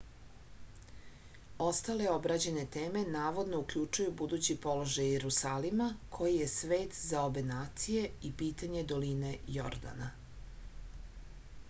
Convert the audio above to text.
ostale obrađene teme navodno uključuju budući položaj jerusalima koji je svet za obe nacije i pitanje doline jordana